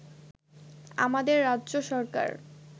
আমাদের রাজ্য সরকার